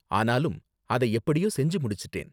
ஆனாலும் அதை எப்படியோ செஞ்சு முடிச்சிட்டேன்.